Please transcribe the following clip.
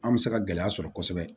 An bɛ se ka gɛlɛya sɔrɔ kosɛbɛ